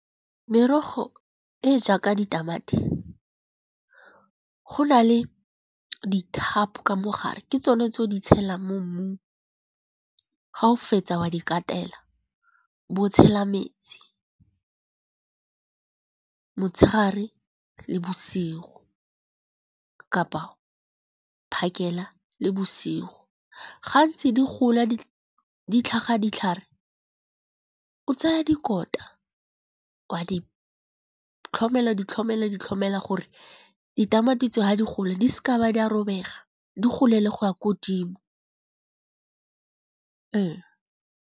Merogo e jaaka ditamati, go na le dithapo ka mogare ke tsone tse o di tshelang mo mmung ga o fetsa wa di katela. Bo tshela metsi, motshegare le bosigo kapa phakela le bosigo. Gantsi di gola di tlhaga ditlhare, o tsaya dikota wa di tlhomela di tlhomela di tlhomela gore ditamati tseo ga di gola di seka ba di a robega di gole le go ya ko godimo .